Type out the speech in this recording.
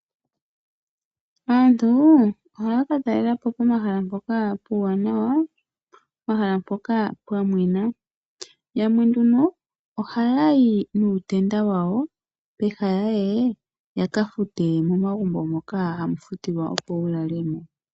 Aantu ohaya katalela po pomahala mpoka puuwanawa , pomahala mpoka pwa mwena. Yamwe nduno ohaya yi nuutenda wawo peha ya ye yakafute momagumbo moka haga futilwa opo wu lale mo.